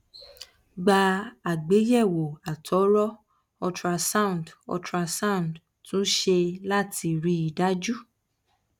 gba àgbéyèwò àtọrọ ultrasound ultrasound tún ṣe láti rí i dájú